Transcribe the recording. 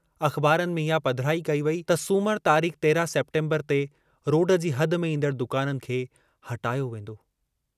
अख़बारुनि में इहा पधिराई कई वेई त सूमर तारीख 13 सेप्टेम्बर ते रोड जी हद में ईन्दड़ दुकाननि खे हटायो वेन्दो।